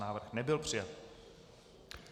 Návrh nebyl přijat.